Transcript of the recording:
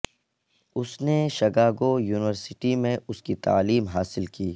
اس نے Chicago university میں اس کی تعلیم حاصل کی